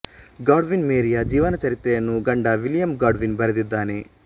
Godwin ಮೇರಿಯ ಜೀವನ ಚರಿತ್ರೆಯನ್ನು ಗಂಡ ವಿಲಿಯಂ ಗಾಡ್ವಿನ್ ಬರೆದಿದ್ದಾನೆ